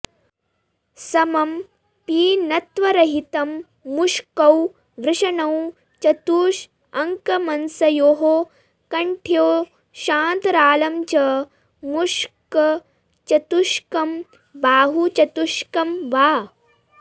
समं पीनत्वरहितं मुष्कौ वृषणौ चतुषअकमंसयोः कठ्योश्चान्तरालं च मुष्कचतुष्कं बाहुचतुष्कं वा